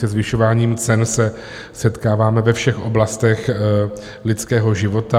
Se zvyšováním cen se setkáváme ve všech oblastech lidského života.